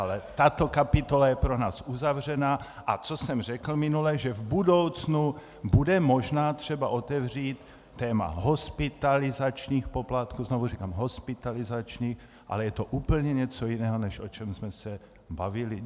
Ale tato kapitola je pro nás uzavřená, a co jsem řekl minule, že v budoucnu bude možná třeba otevřít téma hospitalizačních poplatků, znovu říkám, hospitalizačních, ale je to úplně něco jiného, než o čem jsme se bavili.